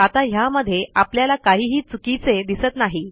आता ह्यामध्ये आपल्याला काहीही चुकीचे दिसत नाही